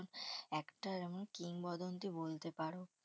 একটা যেমন কিংবদন্তি বলতে পারো।